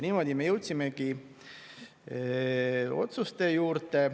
Niimoodi me jõudsimegi otsuste juurde.